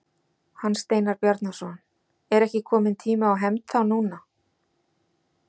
Hans Steinar Bjarnason: Er ekki kominn tími á hefnd þá núna?